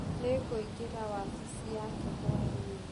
Nĩngũingĩra wabici yake hwainĩ.